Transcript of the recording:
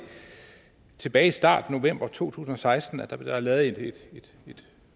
tilbage i starten af november to tusind og seksten at der blev lavet et